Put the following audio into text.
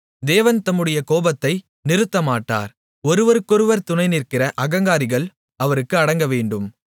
தேவன் தம்முடைய கோபத்தை நிறுத்தமாட்டார் ஒருவருக்கொருவர் துணைநிற்கிற அகங்காரிகள் அவருக்கு அடங்கவேண்டும்